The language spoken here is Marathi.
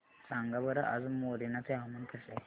सांगा बरं आज मोरेना चे हवामान कसे आहे